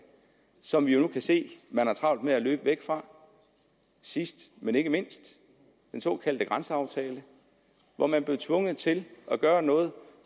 som vi nu kan se at man har travlt med at løbe væk fra sidst men ikke mindst den såkaldte grænseaftale hvor man blev tvunget til at gøre noget